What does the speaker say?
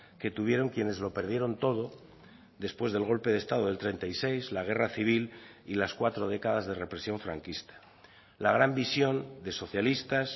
que tuvieron quienes lo perdieron todo después del golpe de estado del treinta y seis la guerra civil y las cuatro décadas de represión franquista la gran visión de socialistas